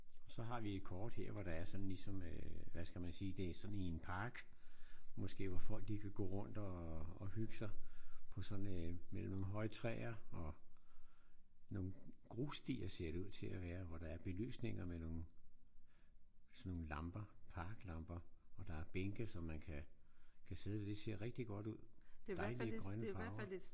Så har vi et kort her hvor der er sådan ligesom en hvad skal man sige det er sådan i en park måske hvor folk de kan gå rundt og hygge sig. På sådan en mellem nogle høje træer og nogle grusstier ser det ud til at være hvor der er belysninger med nogle sådan nogle lamper. Parklamper. Og der er bænke så man kan kan sidde. Det ser rigtig godt ud. Dejlige grønne farver